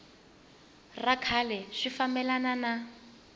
ra kahle swi fambelana na